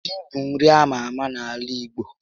Ji bụ nri ama ámá n'ala igbo